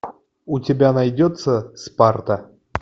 у тебя найдется спарта